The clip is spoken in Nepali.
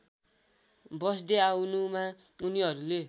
बस्दै आउनुमा उनीहरूले